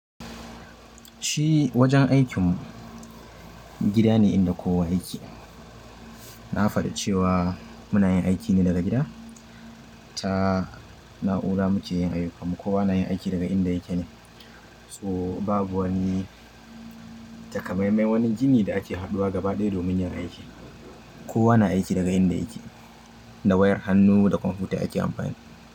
Shi wajen aikin mu gida ne inda kowa yake. Na faɗi cewa muna yin aiki ne daga gida. Ta na'ura muke yin ayyukan mu kowa na yin aiki daga inda yake ne. To babu wani takamaiman wani jini da ake haɗuwa gaba ɗaya domin yin aiki. Kowa na aiki daga inda yake, da wayar hannu da kwamfuta ake amfani.